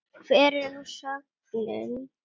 Hver er nú sögnin?